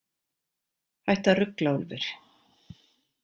Hættu að rugla, Úlfur.